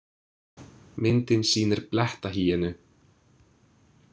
Myndin sýnir blettahýenu.